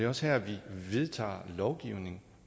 også her vi vedtager lovgivning